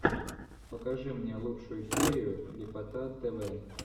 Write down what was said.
покажи мне лучшую серию ляпота тв